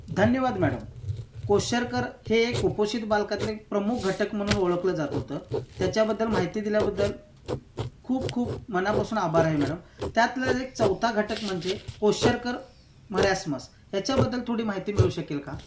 धन्यवाद madam. Kwashiorkor हे एक कुपोषित बालकांमधील प्रमुख घटक म्हणून ओळखले जात होते. त्याच्याबद्दल माहिती दिल्याबद्दल खूप खूप मांनापासून आभार आहे मॅडम. त्यातला एक चौथा घटक म्हणजे क्वोशरकर मरासमस. याच्याबद्दल थोडी माहिती मिळू शकेल का?